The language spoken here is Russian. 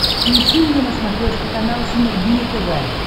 включи мне на смотрешке канал синергия тв